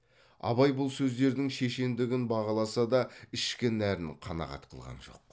абай бұл сөздердің шешендігін бағаласа да ішкі нәрін қанағат қылған жоқ